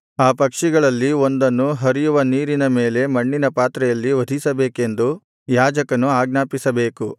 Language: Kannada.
ಆ ಪಕ್ಷಿಗಳಲ್ಲಿ ಒಂದನ್ನು ಹರಿಯುವ ನೀರಿನ ಮೇಲೆ ಮಣ್ಣಿನ ಪಾತ್ರೆಯಲ್ಲಿ ವಧಿಸಬೇಕೆಂದು ಯಾಜಕನು ಆಜ್ಞಾಪಿಸಬೇಕು